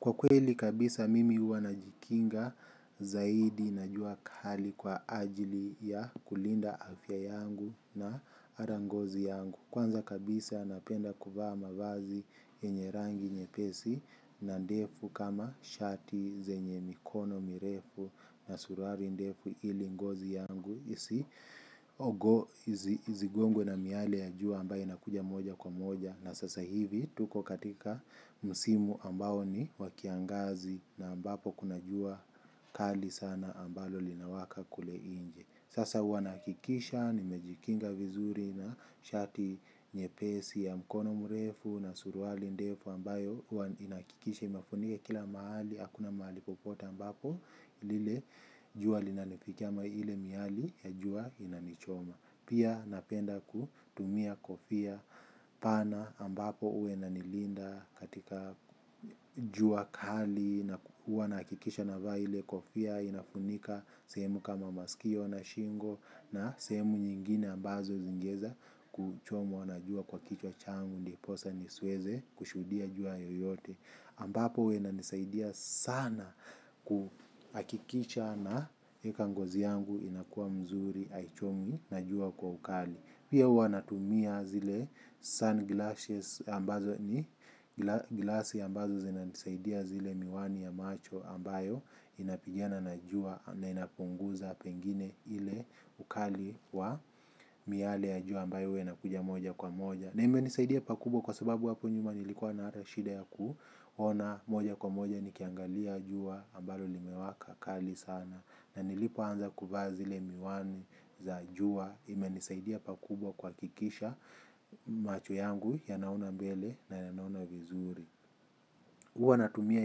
Kwa kweli kabisa mimi uwa na jikinga zaidi na jua khali kwa ajili ya kulinda afya yangu na arangozi yangu. Kwanza kabisa napenda kufa mavazi yenye rangi nyepesi na ndefu kama shati zenye mikono mirefu na suruari ndefu ili ngozi yangu isi ogo izigongwe na miale ya jua ambayo inakuja moja kwa moja na sasa hivi tuko katika musimu ambao ni wakiangazi na ambapo kuna jua kali sana ambalo linawaka kule inje sasa wanakikisha nimejikinga vizuri na shati nye pesi ya mkono murefu na suruali ndefu ambayo inakikisha imafunike kila mahali. Hakuna mahalipopota ambapo lile juwa linalifikia miale miali ya juwa inanichoma. Pia napenda kutumia kofia pana ambapo ue nanilinda katika juwa kali na uwa nakikisha na va ile kofia inafunika. Semu kama masikio na shingo na semu nyingine ambazo zingeza kuchomwa na juwa kwa kichwa changu ndiposa nisweze kushudia juwa yoyote ambapo wena nisaidia sana kuakikisha na ekangozi yangu inakuwa mzuri, haichomwi, najua kwa ukali. Pia huwa na tumia zile sunglasses ambazo ni, glassy ambazo zena nisaidia zile miwani ya macho ambayo inapigiana najua na inapunguza pengine ile ukali wa miale ya jua ambayo wena kuja moja kwa moja. Na ime nisaidia pakubwa kwa sababu wapu njuma nilikuwa na arashida ya kuona moja kwa moja nikiangalia juwa ambalo limewaka kali sana na nilipo anza kuva zile miwani za juwa ime nisaidia pakubwa kwa kikisha macho yangu ya naona mbele na ya naona vizuri. Huwa natumia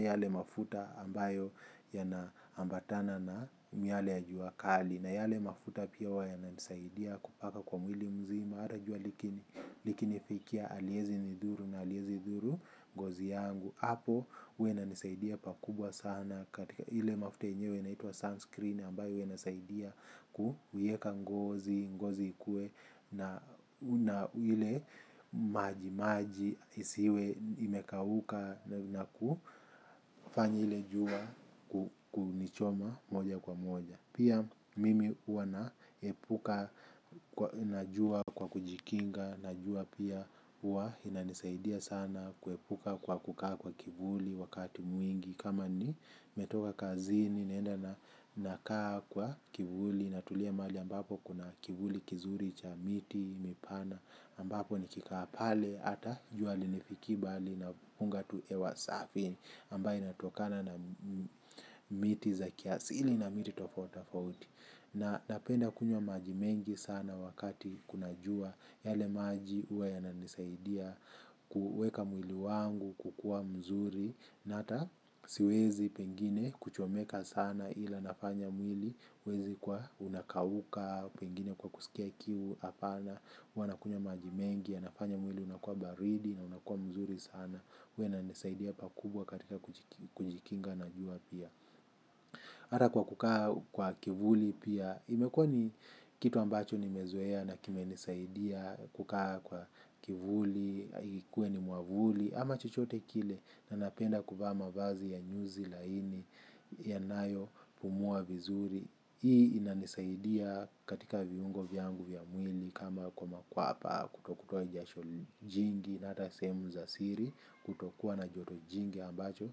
yale mafuta ambayo yana ambatana na miale ya jua kali na yale mafuta pia huwa yananisaidia kupaka kwa mwili mzima hata jua likinifikia haliezi nidhuru na haliezi dhuru ngozi yangu. Hapo huwa inanisaidia pakubwa sana katika ile mafuta yenyewe inaitwa sunscreen ambayo huwna inasaidia kuieka ngozi, ngozi ikuwe na ile maji maji isiwe imekauka na kufanya ile jua kunichoma moja kwa moja. Pia mimi huwa naepuka, najua kwa kujikinga, najua pia huwa inanisaidia sana kuepuka kwa kukaa kwa kivuli wakati mwingi. Kama nimetoka kazini naenda na nakaa kwa kivuli natulia mahali ambapo kuna kivuli kizuri cha miti, mipana ambapo nikikaa pale hata juali hanifikii bali na punga tu hewa safi ambaye inatokana na miti za kiasili na miti tofauti tofauti na napenda kunywa maji mengi sana wakati kuna jua yale maji huwa yananisaidia kuuweka mwili wangu kukuwa mzuri na hata siwezi pengine kuchomeka sana ila nafanya mwili huwezi kuwa unakauka pengine kwa kusikia kiu hapana huwa nakunywa maji mengi yanafanya mwili unakuwa baridi na unakuwa mzuri sana huwa inanisaidia pakubwa katika kujikinga na jua pia hata kukaa kwa kivuli pia imekuwa ni kitu ambacho nimezoea na kimenisaidia kukaa kwa kivuli ikuwe ni mwavuli ama chochote kile ninapenda kuvaa mavazi ya nyuzi laini yanayopumua vizuri. Hii inanisaidia katika viungo vyangu vya mwili kama kwa makwapa kutokutoa jasho jingi na hata sehemu za siri kutokuwa na joto jingi ambacho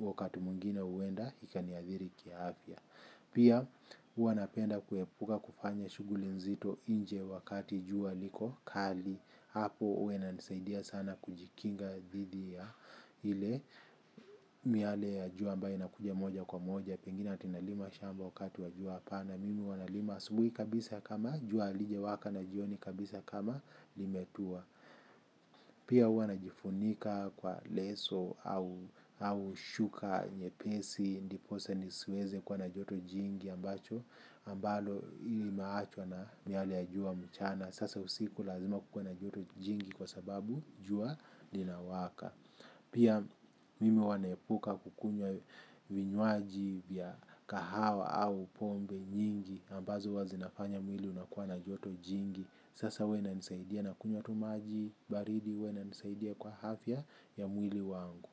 wakati mwingine huenda ikaniathiri kiafya. Pia huwa napenda kuepuka kufanya shughuli nzito inje wakati jua liko kali. Hapo huwa inanisaidia sana kujikinga dhidi ya ile miale ya jua ambayo inakuja moja kwa moja. Pengine ati nalima shamba wakati wa jua hapana. Mimi huwa nalima asubuhi kabisa kama jua halijawaka na jioni kabisa kama limetua. Pia uanajifunika kwa leso au shuka nyepesi. Ndiposa nisiweze kuwa na joto jingi ambacho ambalo ili naachwa na miale ya jua mchana. Sasa usiku lazima kukuwe na joto jingi kwa sababu jua linawaka. Pia mimi huwa naepuka kukunywa vinywaji vya kahawa au pombe nyingi ambazo huwa zinafanya mwili unakuwa na joto jingi. Sasa huwa inanisaidia nakunywa tu maji baridi huwa inanisaidia kwa afya ya mwili wangu.